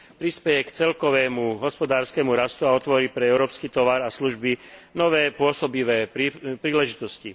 Prispeje k celkovému hospodárskemu rastu a otvorí pre európsky tovar a služby nové pôsobivé príležitosti.